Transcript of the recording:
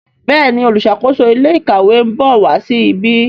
Béèni oluṣakoso ilé ìkàwé nbọ wá sí ìbi.